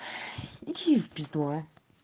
иди в пизду а